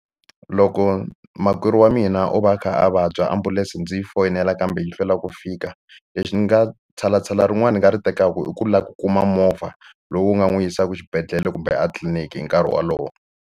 Loko makwerhu wa mina o va a kha a vabya ambulense ndzi foyinela kambe yi hlwela ku fika lexi ni nga tshalatshala rin'wani ni nga ri tekaka i ku lava ku kuma movha lowu nga n'wi yisaka xibedhlele kumbe a tliliniki hi nkarhi wolowo.